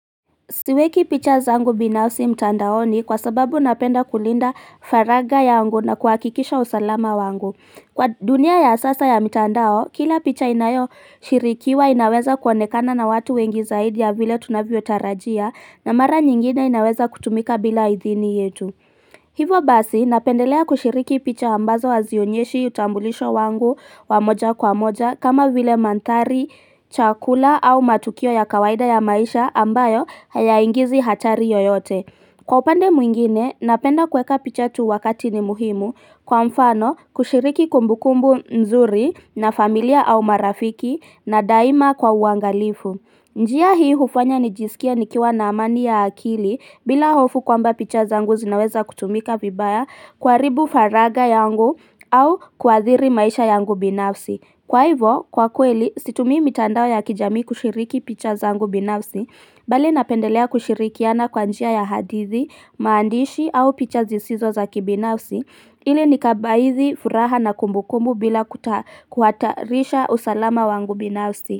Siweki picha zangu binafsi mtandaoni kwa sababu napenda kulinda faragha yangu na kuhakikisha usalama wangu. Kwa dunia ya sasa ya mtandao, kila picha inayo shirikiwa inaweza kuonekana na watu wengi zaidi ya vile tunavyo tarajia na mara nyingine inaweza kutumika bila idhini yetu. Hivo basi napendelea kushiriki picha ambazo hazionyeshi utambulisho wangu wamoja kwa moja kama vile manthari, chakula au matukio ya kawaida ya maisha ambayo hayaingizi hatari yoyote. Kwa upande mwingine napenda kweka pichatu wakati ni muhimu kwa mfano kushiriki kumbukumbu nzuri na familia au marafiki na daima kwa uangalifu. Njia hii hufanya nijisikia nikiwa na amani ya akili bila hofu kwamba picha zangu zinaweza kutumika vibaya kuhribu faraga yangu au kuadhiri maisha yangu binafsi. Kwa hivyo, kwa kweli, situmi mitandao ya kijami kushiriki picha zangu binafsi, bali napendelea kushirikiana kwa njia ya hadithi, maandishi au picha zisizo zaki binafsi, ili nikabaizi furaha na kumbukumbu bila kuta kuhatarisha usalama wangu binafsi.